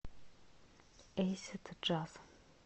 эйсид джаз